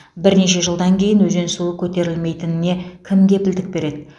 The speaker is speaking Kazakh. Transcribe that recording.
бірнеше жылдан кейін өзен суы көтерілмейтініне кім кепілдік береді